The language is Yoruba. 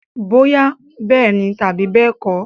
Bóyá bẹ́ẹ̀ni tàbí bẹ́ẹ̀kọ́.